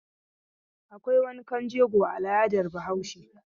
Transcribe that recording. Akwai wankan jego a al'adar Bahaushe.